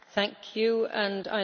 Pani Przewodnicząca!